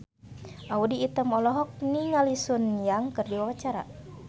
Audy Item olohok ningali Sun Yang keur diwawancara